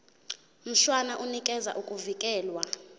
mshwana unikeza ukuvikelwa